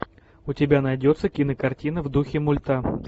у тебя найдется кинокартина в духе мульта